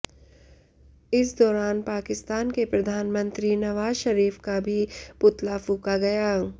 इस दौरान पाकिस्तान के प्रधानमंत्री नवाज शरीफ का भी पुतला फूंका गया